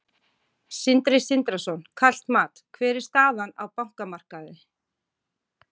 Sindri Sindrason: Kalt mat, hver er staðan á bankamarkaði?